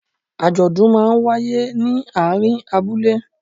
Àjọ̀dún máa ń wáyé ní àárín abúlé.